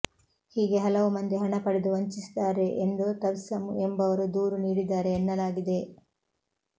ಹೀಗೆ ಹಲವು ಮಂದಿ ಹಣ ಪಡೆದು ವಂಚಿಸಿದ್ದಾರೆ ಎಂದು ತಬಸ್ಸಮ್ ಎಂಬುವರು ದೂರು ನೀಡಿದ್ದಾರೆ ಎನ್ನಲಾಗಿದೆ